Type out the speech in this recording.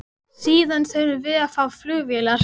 Síðan þurfum við að fá flugvélar.